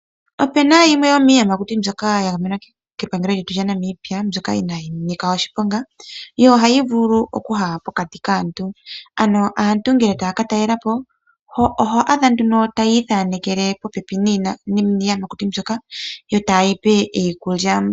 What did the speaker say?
Opena yimwe yo miiyamakuti mbyoka ya gamenwa kepangelo lyetu lya Namibia mbyoka inayi nika oshiponga yo ohayi vulu okuya pokati kaantu, ano aantu ngele taya ka talela po oho adha nduno taya ithanekele popepi niiyamakuti mbyoka yo ta yeyi pe iikulya.